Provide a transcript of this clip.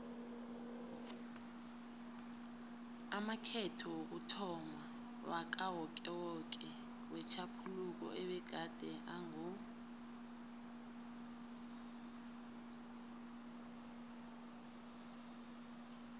amakhetho wokuthomma wakawokewoke wetjhaphuluko abegade ango